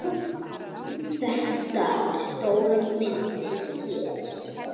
Þetta er stóra myndin hér.